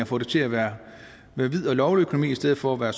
få det til at være en hvid og lovlig økonomi i stedet for at være